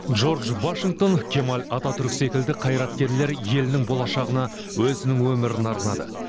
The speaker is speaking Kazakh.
джордж вашингтон кемаль ататүрк секілді қайраткерлер елінің болашағына өзінің өмірін арнады